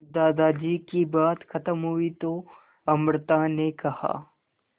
दादाजी की बात खत्म हुई तो अमृता ने कहा